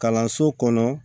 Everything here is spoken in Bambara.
Kalanso kɔnɔ